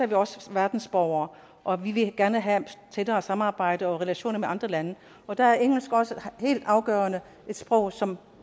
vi også verdensborgere og vi vil gerne have et tættere samarbejde og relationer med andre lande og der er engelsk også et helt afgørende sprog som